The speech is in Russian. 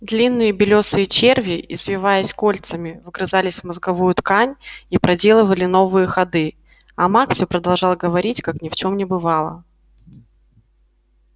длинные белёсые черви извиваясь кольцами вгрызались в мозговую ткань и проделывали новые ходы а маг все продолжал говорить как ни в чем не бывало